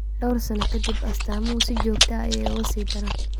Dhowr sano ka dib, astaamuhu si joogto ah ayay uga sii daraan.